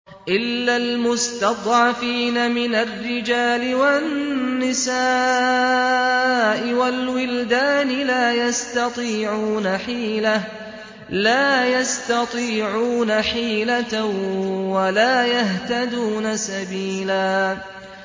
إِلَّا الْمُسْتَضْعَفِينَ مِنَ الرِّجَالِ وَالنِّسَاءِ وَالْوِلْدَانِ لَا يَسْتَطِيعُونَ حِيلَةً وَلَا يَهْتَدُونَ سَبِيلًا